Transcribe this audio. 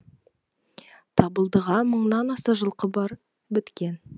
табылдыға мыңнан аса жылқы біткен